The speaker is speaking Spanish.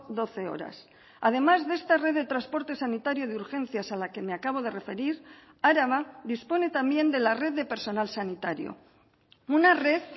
doce horas además de esta red de transporte sanitario de urgencias a la que me acabo de referir araba dispone también de la red de personal sanitario una red